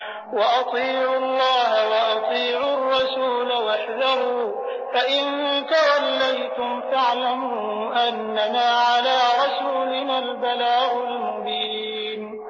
وَأَطِيعُوا اللَّهَ وَأَطِيعُوا الرَّسُولَ وَاحْذَرُوا ۚ فَإِن تَوَلَّيْتُمْ فَاعْلَمُوا أَنَّمَا عَلَىٰ رَسُولِنَا الْبَلَاغُ الْمُبِينُ